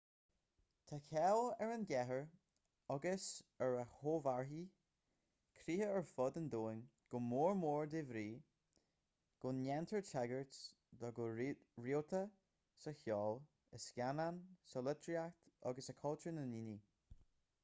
tá cáil ar an gcathair agus ar a chomharthaí críche ar fud an domhain go mór mór de bhrí go ndéantar tagairt dó go rialta sa cheol i scannáin sa litríocht agus i cultúr na ndaoine